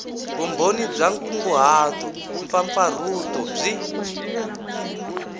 vumbhoni bya nkunguhato mpfapfarhuto byi